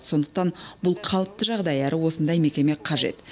сондықтан бұл қалыпты жағдай әрі осындай мекеме қажет